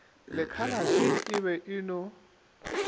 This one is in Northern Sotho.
lekhalate e be e no